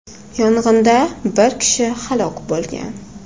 Yong‘inda bir kishi halok bo‘lgan.